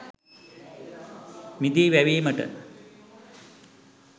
මිදි වැවීමට